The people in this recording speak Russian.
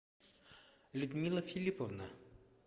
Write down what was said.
людмила филипповна